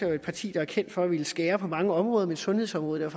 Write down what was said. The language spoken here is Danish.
jo et parti der er kendt for at ville skære på mange områder men sundhedsområdet er